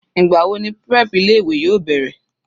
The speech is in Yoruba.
Ìgbà wo ni prep ilé ìwé yóò bẹ̀rẹ̀?